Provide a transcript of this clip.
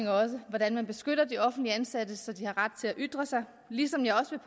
hvordan man beskytter de offentligt ansatte så de har ret til at ytre sig ligesom jeg også